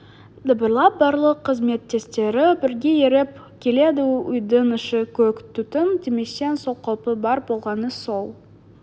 дабырлап барлық қызметтестері бірге еріп келеді үйдің іші көк түтін демесең сол қалпы бар болғаны сол